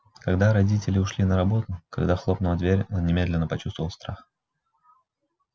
когда родители ушли на работу когда хлопнула дверь он немедленно почувствовал страх